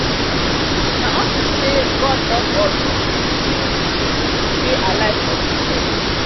na unto say god love us we still we still dey alive for dis earth